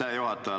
Aitäh, juhataja!